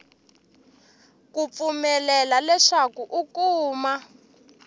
ku pfumelela leswaku u kuma